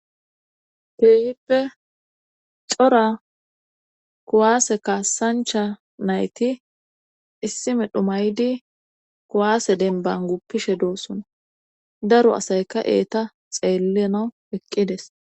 Keehippe cora kuwaase kaasancha nayti issi medho maydi kuwaase denban guppishe doossuna daro asayka eeta xeellenaw eqqides